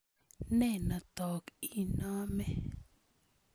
Ne notok inome?